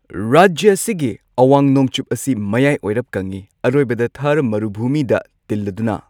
ꯔꯥꯖ꯭ꯌꯥ ꯑꯁꯤꯒꯤ ꯑꯋꯥꯡ ꯅꯣꯡꯆꯨꯞ ꯑꯁꯤ ꯃꯌꯥꯏ ꯑꯣꯏꯔꯞ ꯀꯪꯏ, ꯑꯔꯣꯏꯕꯗ ꯃꯔꯨꯚꯨꯃꯤꯗ ꯇꯤꯜꯂꯗꯨꯅ꯫